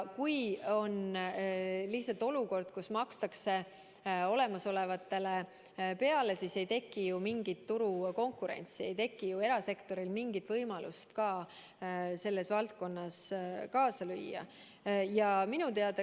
Kui on lihtsalt olukord, kus makstakse olemasolevale peale, siis ei teki ju mingit turukonkurentsi, ei teki ju erasektoril mingit võimalust selles valdkonnas kaasa lüüa.